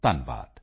ਧੰਨਵਾਦ